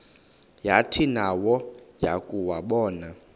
yathi nayo yakuwabona